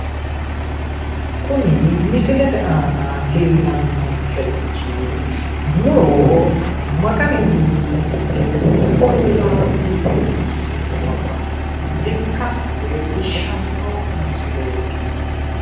Kuni misilete aana leelanni noonkerichi muro ma garinni mudhe ollaa biifissinota ikkase leellishshanno misileeti